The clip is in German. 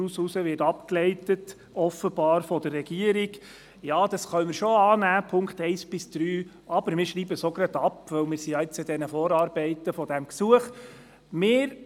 Daraus leitet die Regierung offenbar ab, man könne die Punkte 1 bis 3 annehmen und gleich abschreiben, denn man sei bereits mit den Vorarbeiten zu diesem Gesuch befasst.